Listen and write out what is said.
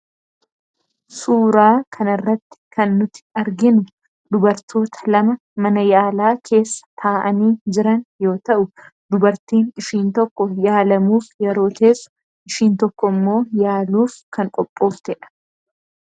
Suuraa kana irratti kan nuti arginu dubartoota lama mana yaalaa keessa taa'anii jiran yoo ta'u, dubartiin ishiin tokko yaalamuuf yeroo teessu, ishiin tokko immoo yaaluuf kan qophooftedha.